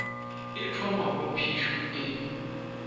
e thoma moo phišo e